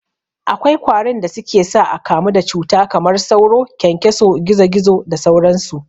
Akwai kwarin da suke sa akamu da cuta kamar sauro, kyankyaso, gizo gizo da sauran su.